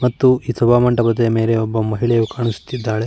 ಮತ್ತು ಸಭಾ ಮಂಟಪದ ಮೇಲೆ ಒಬ್ಬ ಮಹಿಳೆಯು ಕಾಣಿಸುತ್ತಿದ್ದಾಳೆ .